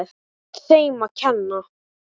Allt þeim að kenna.!